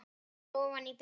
Hausinn ofan í bringu.